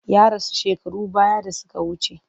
Ya rasu shekarun baya da suka wuce.